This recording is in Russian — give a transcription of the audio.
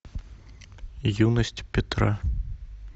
юность петра